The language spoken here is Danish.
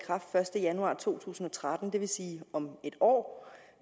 første januar to tusind og tretten det vil sige om en år